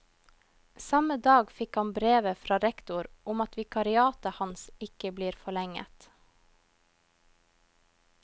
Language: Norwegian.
Samme dag fikk han brevet fra rektor om at vikariatet hans ikke blir forlenget.